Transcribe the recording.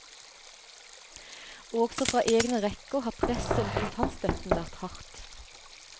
Også fra egne rekker har presset om kontantstøtten vært hardt.